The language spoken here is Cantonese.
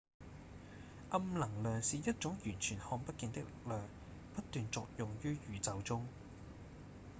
暗能量是一種完全看不見的力量不斷作用於宇宙中